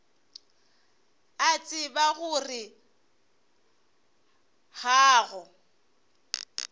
a tseba gore ga go